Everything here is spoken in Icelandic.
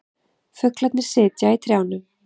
Fuglarnir sitja í trjánum.